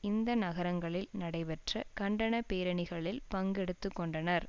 இந்த நகரங்களில் நடைபெற்ற கண்டன பேரணிகளில் பங்கு எடுத்து கொண்டனர்